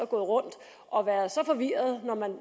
gået rundt og været så forvirrede når man